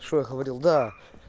что я говорил да